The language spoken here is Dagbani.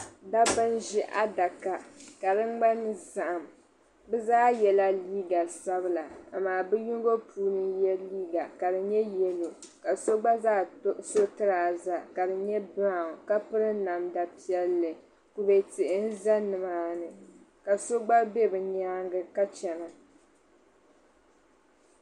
Dabba n ʒi adaka ka di ŋmani zaɣim bi zaa yela liiga sabila amaa bi yino puuni n ye liiga ka di ŋmani yellow ka so gba zaa so trouser ka di ŋmani brown ka piri namda piɛlli ku be tihi n ʒi nimaani ka so gba be bi nyaanga ka chana.